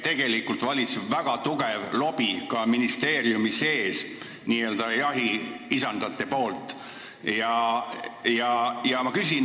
Tegelikult on ministeeriumis ka n-ö jahiisandate väga tugev lobi.